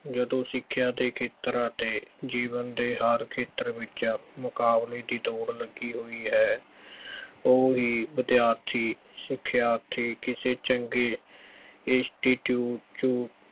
ਜਦੋਂ ਸਿੱਖਿਆ ਦੇ ਖੇਤਰ ਅਤੇ ਜੀਵਨ ਦੇ ਹਰ ਖੇਤਰ ਵਿੱਚ ਮੁਕਾਬਲੇ ਦੀ ਦੌੜ ਲੱਗੀ ਹੋਈ ਹੈ, ਉਹੀ ਵਿਦਿਆਰਥੀ ਸਿੱਖਿਆਰਥੀ ਕਿਸੇ ਚੰਗੇ institute ਚੋਂ